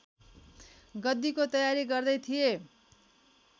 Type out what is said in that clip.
गद्दीको तयारी गर्दै थिए